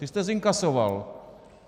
Ty jste zinkasoval.